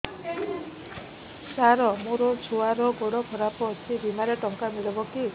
ସାର ମୋର ଛୁଆର ଗୋଡ ଖରାପ ଅଛି ବିମାରେ ଟଙ୍କା ମିଳିବ କି